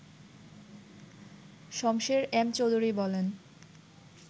Shamsher M Chowdhury বলেন